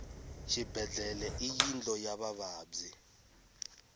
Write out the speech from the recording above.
xibedlhele i yindlu ya vavabyi